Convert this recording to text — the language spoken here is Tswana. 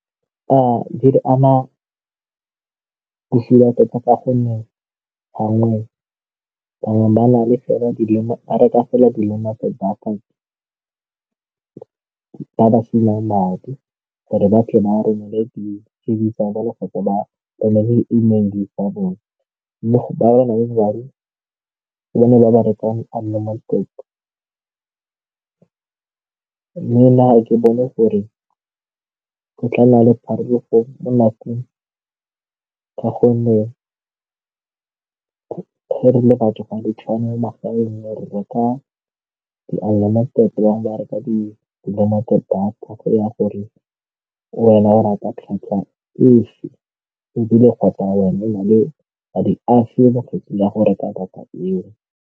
Di re ama bosula thata ka gonne bangwe ba reka fela dilwana tsa data di ka ba ba sielang madi gore ba tle ba romele tsa bone mme ga ke bone gore go tla nna le ge re le batho ga re tshwane mo magaeng e ka re ama thata, bangwe ba reka di-limited data ya gore wena ba rata kgatlhang fa e na le madi afe ya go reka data eo.